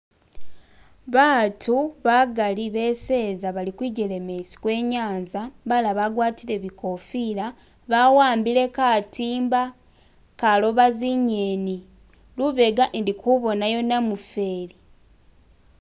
Batu bagali beseza bali kwijelemesi kwenyanza balala bagwatile bikofila bawambile katimba kaloba zinyeni lubega indikubonayo namufeli